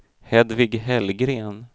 Hedvig Hellgren